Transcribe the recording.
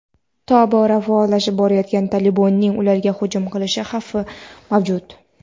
tobora faollashib borayotgan "Tolibon"ning ularga hujum qilish xavfi mavjud.